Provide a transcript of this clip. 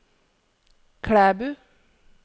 Klæbu